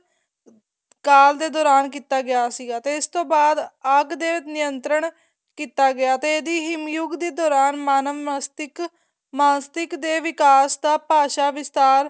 ਕਾਲ ਦੇ ਦੋਰਾਨ ਕੀਤਾ ਗਿਆ ਸੀਗਾ ਤੇ ਇਸ ਬਾਅਦ ਆਗ ਦੇ ਨਿੰਤਰਣ ਕੀਤਾ ਗਿਆ ਤੇ ਇਹਦੀ ਹਿਮ ਯੁੱਗ ਦੇ ਦੋਰਾਨ ਮਾਨਵ ਮਸਤਿਕ ਮਸਤਿਕ ਦੇ ਵਿਕਾਸ ਦਾ ਭਾਸ਼ਾ ਵਿਸਥਾਰ